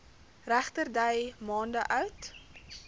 regterdy maande oud